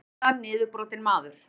Gersamlega niðurbrotinn maður.